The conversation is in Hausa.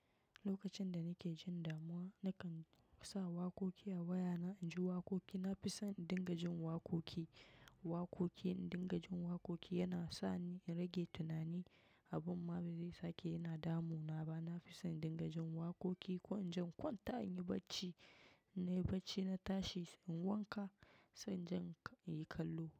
Lokacin da nake jin damuwa, na kan sa waƙoƙi a waya na. In ji waƙoƙi, na fi son dingajin waƙoƙi. Waƙoƙin dingajin waƙoƙi yana sa ni in rage tunani a banba. Zai sake yana damu na ba. Na fi son dingajin waƙoƙi ko in jan kwanta in yi barci. Na yi barci na tashi in wanka, sai in jan in yi kallo.